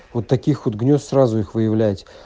вот таких вот гнёзд сразу их выявлять